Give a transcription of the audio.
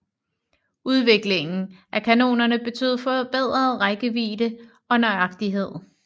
Udviklingen af kanonerne betød forbedret rækkevidde og nøjagtighed